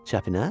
Çəpinə?